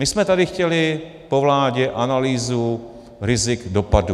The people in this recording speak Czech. My jsme tady chtěli po vládě analýzu rizik dopadů.